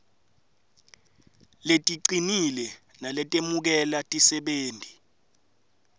leticinile naletemukela tisebenti